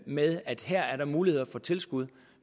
med at der er mulighed for tilskud